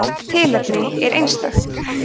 hvert tilfelli er einstakt